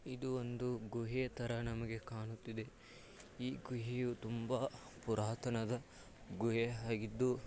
ಇದು ಒಂದು ಗುಹೆ ತರ ನಮಗೆ ಕಾಣುತ್ತಿದೆ ಈ ಗುಹೆಯೂ ತುಂಬಾ ಪುರಾತನವಾದ ಗುಹೆಯಾಗಿದ್ದು .